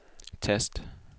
tast